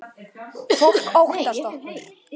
Fólk óttast okkur.